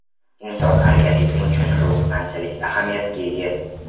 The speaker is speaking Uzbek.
Inson organizmi uchun rux qanchalik ahamiyatga ega?.